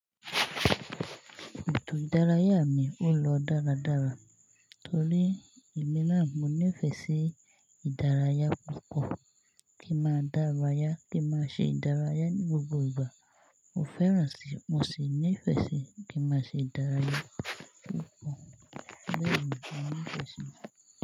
Ètò ìdárayá mi ó lọ dáradára torí èmi náà mo nífẹ̀ẹ́ sí ìdárayá púpọ̀ kí máa dárayá kí máa ṣe ìdárayá ní gbogbo ìgbà. Mo fẹ́ràn sì, mo sì nífẹ̀ẹ́ sí kí n máa ṣe ìdárayá púpọ̀. Bẹ́ẹ̀ ni mo nífẹ̀ẹ́ sí.